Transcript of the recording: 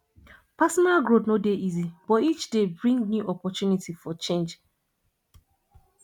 personal growth no dey easy but each day bring new opportunity for change